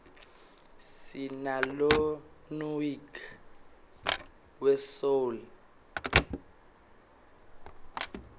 sinalonuyg we soul